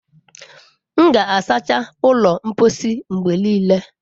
M ga-asacha ụlọ mposi mgbe niile.